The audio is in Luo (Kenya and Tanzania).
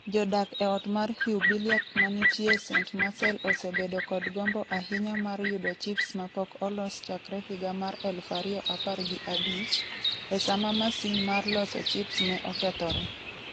Jodak e ot mar Hubiliac ma nitie Saint-Marcel osebedo kod gombo ahinya mar yudo chips mapok olos chakre higa mar 2015, e sama masin mar loso chips ne okethore.